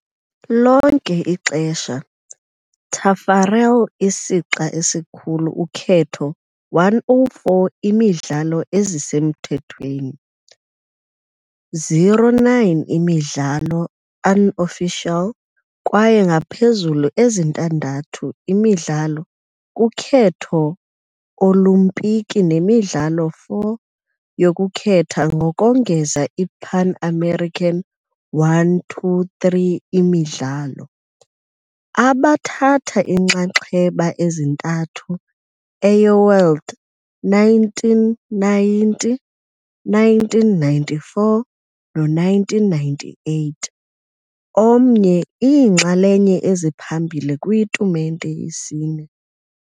lonke ixesha, Taffarel isixa esikhulu ukhetho 104 imidlalo ezisemthethweni, 09 imidlalo unofficial kwaye ngaphezulu ezintandathu imidlalo kukhetho Olimpiki nemidlalo 4 yokukhetha ngokongeza iPan American 123 imidlalo, abathatha inxaxheba ezintathu eyo-World 1990, 1994 no-1998, omnye iinxalenye eziphambili kwitumente yesine.